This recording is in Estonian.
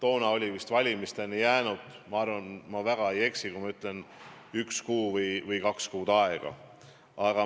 Siis oli valimisteni jäänud, ma arvan, et ma väga ei eksi, üks kuu või kaks kuud aega.